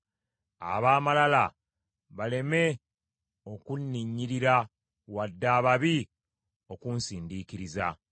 Ab’amalala baleme okunninnyirira, wadde ababi okunsindiikiriza.